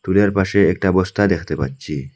টুলের পাশে একটা বস্তা দেখতে পাচ্ছি।